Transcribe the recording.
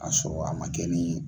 A sɔrɔ a ma kɛ ni